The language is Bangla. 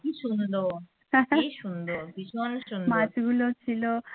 কী সুন্দর কী সুন্দর ভীষন সুন্দর।